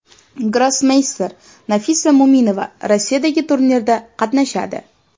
Grossmeyster Nafisa Mo‘minova Rossiyadagi turnirda qatnashadi.